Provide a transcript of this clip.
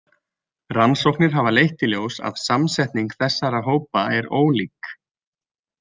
Rannsóknir hafa leitt í ljós að samsetning þessara hópa er ólík.